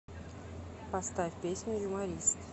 поставь песню юморист